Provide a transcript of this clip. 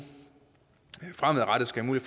fremadrettet skal have